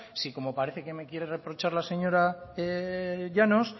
si como parece que me quiere reprochar la señora llanos